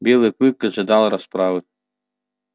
белый клык ожидал расправы